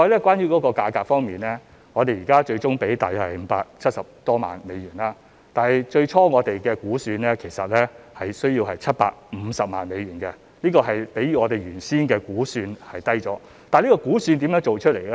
關於價格方面，我們最終支付大約570多萬美元，但我們其實最初估算需要750萬美元，是次價格已較我們原先的估算低，主席，這估算是如何得出來呢？